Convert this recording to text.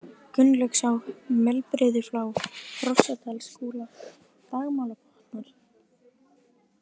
Gunnlaugsá, Melbrigðuflá, Hrossadalskúla, Dagmálabotnar